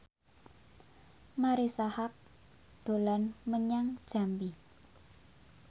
Marisa Haque dolan menyang Jambi